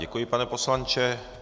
Děkuji, pane poslanče.